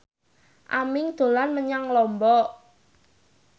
Aming dolan menyang Lombok